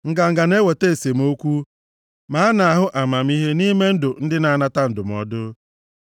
Nganga na-eweta esemokwu, ma a na-ahụ amamihe nʼime ndụ ndị na-anata ndụmọdụ.